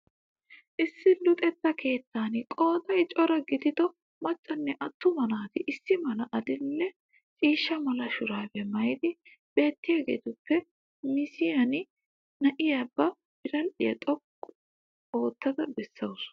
Issi luxeta keettan qooday cora gidido maccanne atuma naati issi mala adildhdhe ciishsha mala shuraabiya maayid beettiyagettuppe mission na'iya ba biradhdhdhiya xoqqu ootttida beasawusu.